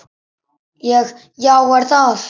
Ég: Já er það?